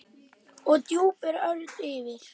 og drúpir örn yfir.